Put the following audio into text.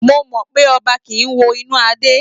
Mo mọ pé ọba kì í wo inú adé